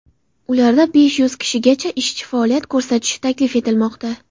Ularda besh yuz kishigacha ishchi faoliyat ko‘rsatishi taklif etilmoqda.